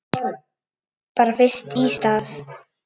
Bara fyrst í stað.